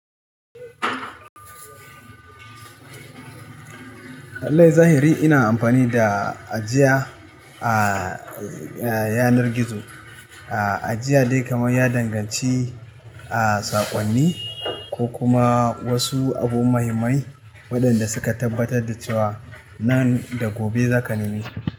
Lallai zahiri ina amfani da ajiya a yanar gizo. Ajiya dai kamar ya danganci a saƙonni ko kuma wasu abu muhimmai waɗanda suka tabbatar da cewa nan da gobe za ka nemi.